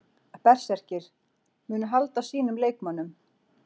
Berserkir: Munu halda sínum leikmönnum.